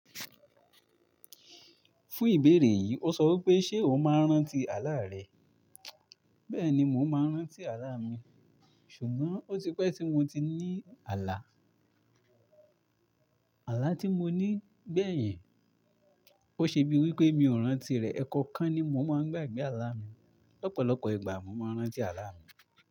Fún ìbéèrè yìí, ó sọ wipé ṣé o máa ń rántí àlá rẹ? Bẹ́ẹ̀ni mò ń máa rántí àlá mi. Ṣùgbọ́n ó ti pẹ́ tí mo ti ní àlá. Àlá tí mo ní gbẹ̀yìn, ó ṣe bí wí pé mi ò rántí rẹ̀. Ẹ̀ẹ̀kọ̀kan ni mò ń máa ń gbàgbé àlá mi. Lopọ̀lọpọ̀ ìgbà mò máa ń rántí àlá mi.